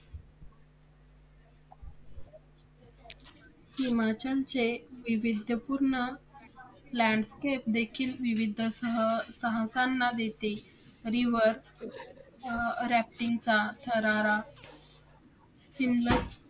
हिमाचलच्या वैविध्यपुर्ण landscape देखील विविधसह साहसांना देते river rafting थरारा सतलज